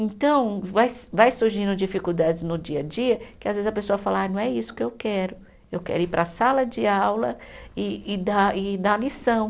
Então, vai se vai surgindo dificuldades no dia a dia, que às vezes a pessoa fala, ah não é isso que eu quero, eu quero ir para a sala de aula e e dar, e dar a lição.